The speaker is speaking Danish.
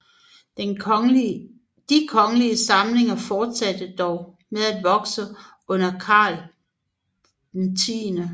De kongelige samlinger fortsatte dog med at vokse under Karl 10